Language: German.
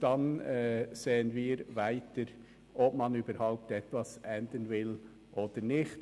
dann können wir neu beurteilen, ob etwas geändert werden soll oder nicht.